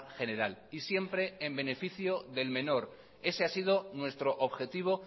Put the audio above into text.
general y siempre en beneficio del menor ese ha sido nuestro objetivo